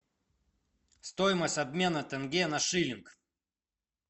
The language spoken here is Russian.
стоимость обмена тенге на шиллинг